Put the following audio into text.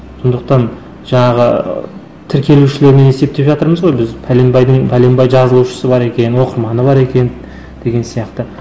сондықтан жаңағы тіркелушілерінен есептеп жатырмыз ғой біз пәленбайдың пәленбай жазылушысы бар екен оқырманы бар екен деген сияқты